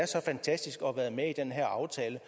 her aftale